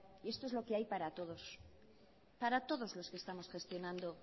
y esto es lo que hay para todos para todos los que estamos gestionando